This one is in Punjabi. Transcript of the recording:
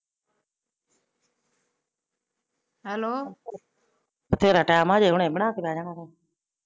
ਹੈਲੋ ਹਮ ਹੈਲੋ ਬਥੇਰਾ ਟੈਮ ਆ ਹੁਣੇ ਬਣਾ ਕੇ ਬਿਹ ਜਾਣਾ?